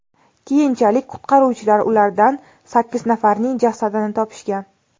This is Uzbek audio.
Keyinchalik qutqaruvchilar ulardan sakkiz nafarining jasadini topishgan.